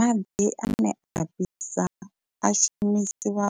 Maḓi ane a fhisa a shumisiwa